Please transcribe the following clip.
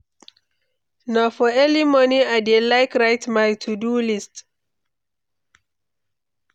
Na for early morning I dey like write my to-do list.